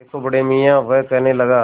देखो बड़े मियाँ वह कहने लगा